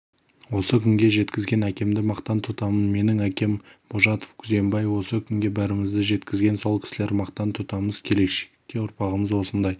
осы күнге жеткізген әкемді мақтан тұтамын менің әкем божатов күзембай осы күнге бәрімізді жеткізген сол кісілер мақтан тұтамыз келешекте ұрпағымыз осындай